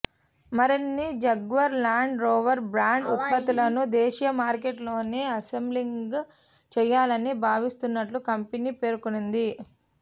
మరిన్ని Jaguar Land Rover brand ఉత్పత్తులను దేశీయ మార్కెట్లోనే అసెంబ్లింగ్ చేయాలని భావిస్తున్నట్లు కంపెనీ పేర్కొంది